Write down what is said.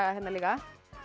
hérna líka